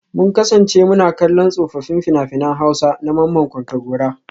Mun kasance muna kallon tsofaffin fina-finan Hausa na Mamman Kontagora